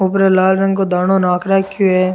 ऊपर लाल रंग को दानों नाख रखो है।